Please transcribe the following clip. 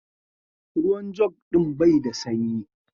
Ruwan jug din bai da sanyi.